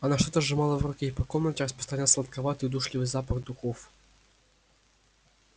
она что-то сжимала в руке и по комнате распространялся сладковатый удушливый запах дешёвых духов